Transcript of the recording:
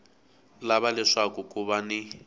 lava leswaku ku va ni